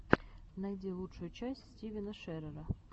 найти лучшую часть стивена шерера